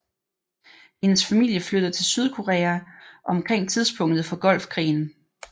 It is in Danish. Hendes familie flyttede til Sydkorea omkring tidspunktet for Golfkrigen